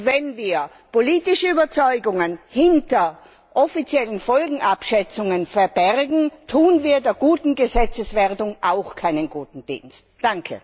Wenn wir politische Überzeugungen hinter offiziellen Folgenabschätzungen verbergen, tun wir der guten Gesetzeswerdung auch keinen guten Dienst.